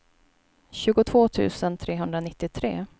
tjugotvå tusen trehundranittiotre